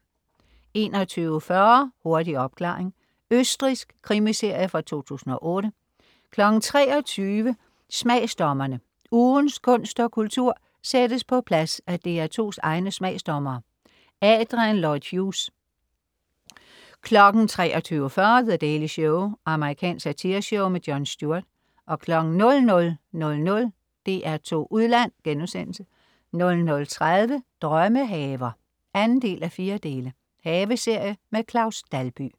21.40 Hurtig opklaring. Østrigsk krimiserie fra 2008 23.00 Smagsdommerne. Ugens kunst og kultur sættes på plads af DR2's egne smagsdommere. Adrian Lloyd Hughes 23.40 The Daily Show. Amerikansk satireshow. Jon Stewart 00.00 DR2 Udland* 00.30 Drømmehaver 2:4. Haveserie. Claus Dalby